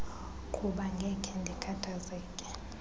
qhuba ngekhe ndikhathazeke